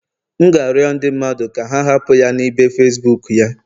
M ga-arịọ ndị mmadụ ka ha hapụ ya na ibe Facibuku ya